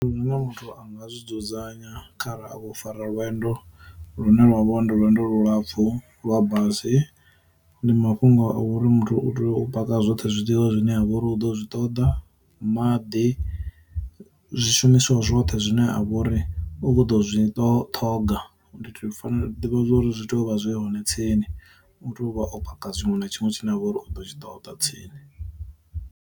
Muthu anga zwi dzudzanya khara a kho fara lwendo lu ne lwa vho ndo lwendo lulapfu lwa basi, ndi mafhungo a uri muthu u tea u paka zwoṱhe zwiḽiwa zwine a vha uri u ḓo zwi ṱoḓa, maḓi, zwishumiswa zwoṱhe zwine a vhori u kho ḓo zwi to ṱhoga, ndi tea u fanela ḓivha zwa uri zwi tea u vha zwi hone tsini, u tea u vha o paka tshiṅwe na tshiṅwe tshine a vha uri u ḓo tshi ṱoḓa tsini.